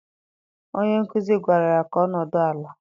Onye nkuzi gwara ya ka ọ nọdụ ala!